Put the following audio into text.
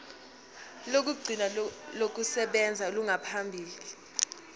lokugcina lokusebenza olungaphambi